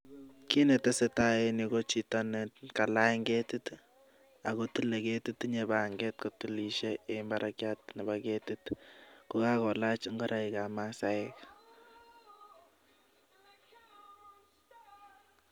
Kit netesetai en yuh ko chito nekalany ketit i,akotile keetit, tinyee pang'et netilisien en barakiat Nebo keetit ko kakolaach ingoroik ab masaek.